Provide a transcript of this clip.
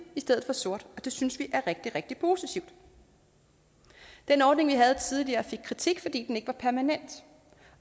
i stedet for sort det synes vi er rigtig rigtig positivt den ordning vi havde tidligere fik kritik fordi den ikke var permanent